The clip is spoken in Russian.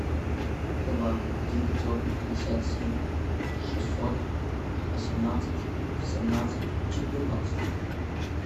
два девятьсот пятьдесят семь шестьсот восемнадцать семнадцать четырнадцать